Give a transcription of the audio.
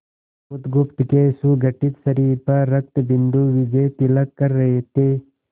बुधगुप्त के सुगठित शरीर पर रक्तबिंदु विजयतिलक कर रहे थे